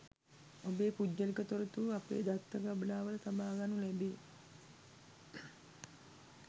ඔබේ පුද්ගලික තොරතුරු අපේ දත්ත ගබඩාවල තබාගනු ලැබේ